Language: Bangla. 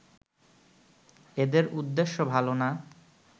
এদের উদ্দেশ্য ভালো না